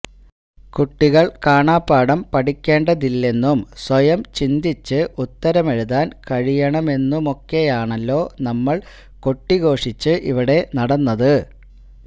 കുട്ടികള് കാണാപാഠം പഠിക്കേണ്ടതില്ലെന്നും സ്വയം ചിന്തിച്ച് ഉത്തരമെഴുതാന് കഴിയണമെന്നുമൊക്കെയാണല്ലോ നമ്മള് കൊട്ടിഘോഷിച്ച് ഇവിടെ നടന്നത്